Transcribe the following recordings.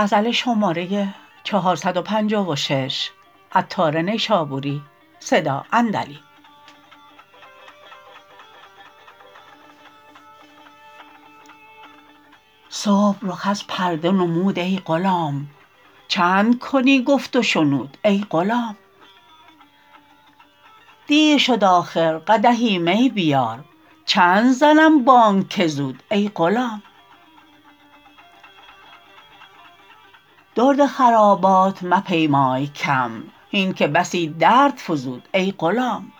صبح رخ از پرده نمود ای غلام چند کنی گفت و شنود ای غلام دیر شد آخر قدحی می بیار چند زنم بانگ که زود ای غلام درد خرابات مپیمای کم هین که بسی درد فزود ای غلام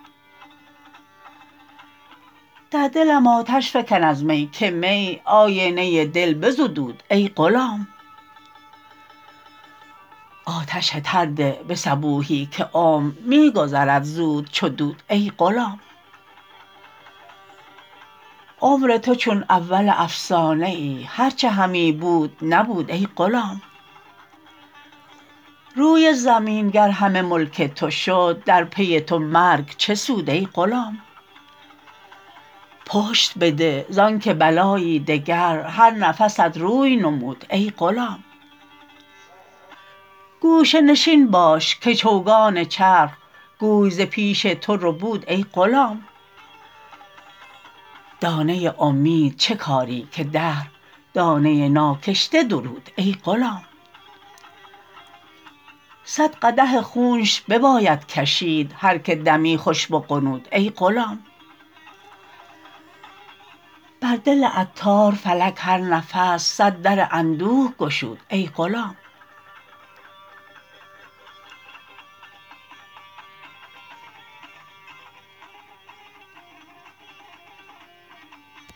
در دلم آتش فکن از می که می آینه دل بزدود ای غلام آتش تر ده به صبوحی که عمر می گذرد زود چو دود ای غلام عمر تو چون اول افسانه ای هرچه همی بود نبود ای غلام روی زمین گر همه ملک تو شد در پی تو مرگ چه سود ای غلام پشت بده زانکه بلایی دگر هر نفست روی نمود ای غلام گوشه نشین باش که چوگان چرخ گوی ز پیش تو ربود ای غلام دانه امید چه کاری که دهر دانه ناکشته درود ای غلام صد قدح خونش بباید کشید هر که دمی خوش بغنود ای غلام بر دل عطار فلک هر نفس صد در اندوه گشود ای غلام